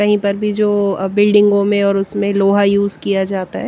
कहीं पर भी जो बिल्डिंगों में और उसमें लोहा यूज किया जाता है।